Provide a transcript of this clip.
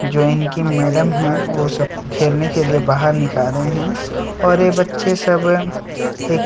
join की madam है वह सब को खेलने के लिए बाहर निकाले हैं और यह बच्चे सब एक --